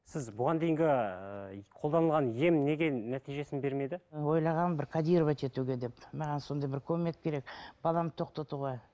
сіз бұған дейінгі ыыы қолданылған ем неге нәтижесін бермеді ойлағанмын бір кодировать етуге деп маған сондай бір көмек керек баламды тоқтатуға